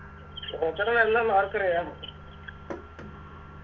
ല്ലെന്ന് ആർക്കറിയാം ന്ന്